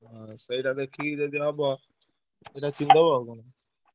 ଆଁ ସେଇଟା ଦେଖିକିରି ଯଦି ହବ ସେଇଟା କିଣି ଦବ ଆଉ କଣ